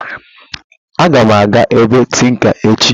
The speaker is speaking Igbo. Aga m aga ebe tinka echi